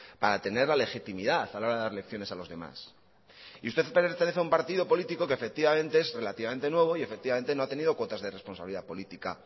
para tener la legitimidad a la hora de dar lecciones a los demás y usted pertenece a un partido político queefectivamente es relativamente nuevo y efectivamente no ha tenido cuotas de responsabilidad política